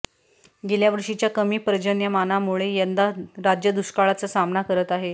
गेल्यावर्षीच्या कमी पर्जन्यमानामुळे यंदा राज्य दुष्काळाचा सामना करत आहे